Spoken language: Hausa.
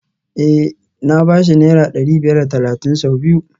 Eh na ba shi naira dari biyar da talatin sau biyu